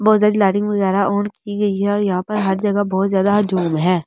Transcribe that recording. बहुत सारी लाइटिंग वगैरह ऑन की गई है और यहाँ पे हर जगह बहुत ज्यादा ज़ूम है।